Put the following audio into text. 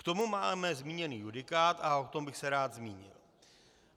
K tomu máme zmíněný judikát a o tom bych se rád zmínil.